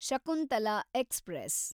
Shakuntala express